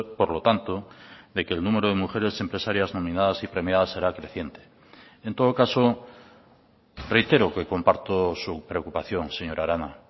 por lo tanto de que el número de mujeres empresarias nominadas y premiadas será creciente en todo caso reitero que comparto su preocupación señora arana